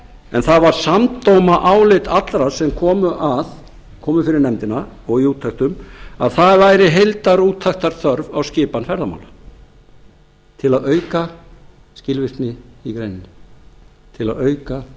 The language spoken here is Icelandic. en það var samdóma álit allra sem komu að komu fyrir nefndina og í úttektum að það væri heildarrúttektarþörf á skipan ferðamála til að auka skilvirkni í greininni